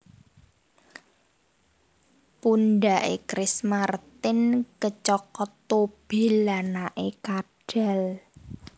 Pundak e Chris Martin kecokot tobil anake kadhal